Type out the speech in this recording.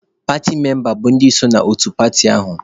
Paatị membas bụ ndị so n'otu paatị ahụ.